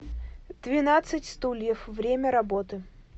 двенадцать стульев время работы